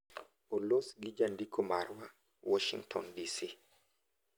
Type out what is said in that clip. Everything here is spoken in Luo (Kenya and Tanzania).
olos gi jandiko marwa, Warshington, DC